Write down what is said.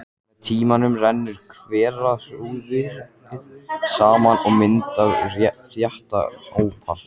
Með tímanum rennur hverahrúðrið saman og myndar þéttan ópal.